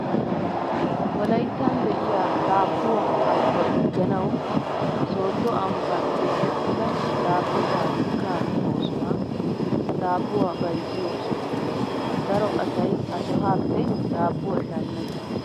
Wolayittan de'iyaa daabuwaa al'uwaa digganawu soodo ambban keexettida daabbo pabirkkaa oosuwaa daabbuwaa bayizziyoo sohaa. Daro asayi ha sohaappe daabbuwaa shammes.